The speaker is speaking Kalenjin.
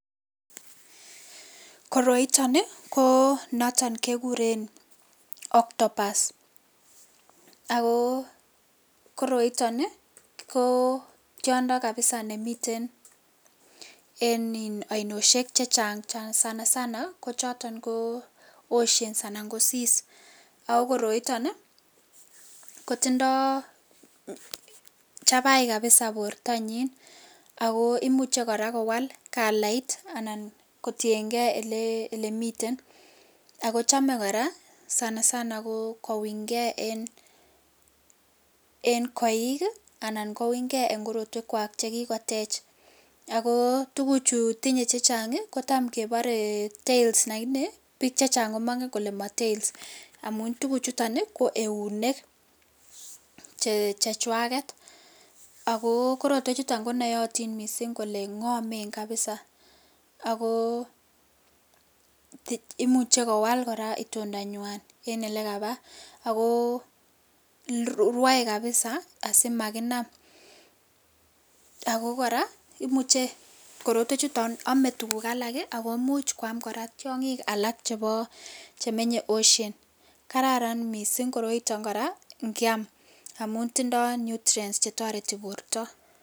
koroiton ii koo noton kegureen octobus, ago koroiton ii koo tyondo kabisa nemiten en ii oinosyek chechang sanasana ko choton ko oceans anan ko seas ago koroiton ii kotindoo chabai kabisa portonyin ago imuche koraa kowal kalait anan kotiyengee elemiten ago chome koraa sanasana kounygee en koiik anan koungee en korotwek kwaak chegigotech ago tuguchu tinye chechang ii kotam keboree tails lakini biik chechang komonge kole mo tails omuun tuguk chuton ko euneek chejwaget ago korotwek chuton konoyotin mising kole ngomen kabiza agoo imuche kora kowaal itondo nywaan en elegabaa agoo rwoee kabiza asimaginam ago koraa imuche korotwek chuton omee tuguk alak ago imuch kwaam tyongik alak chebo chemenye ocean kararan mising koroiton koraa ngyaam amun tindoo nutrients chetoreti borto